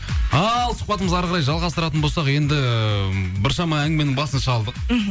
ал сұхбатымызды әріқарай жалғастыратын болсақ енді біршама әңгіменің басын шалдық мхм